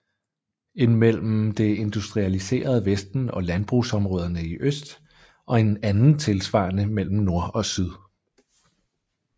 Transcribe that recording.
En mellem det industrialiserede vesten og landbrugsområderne i øst og en anden tilsvarende mellem nord og syd